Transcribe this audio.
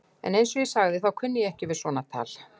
Eins og ég sagði, þá kunni ég ekki við svona tal.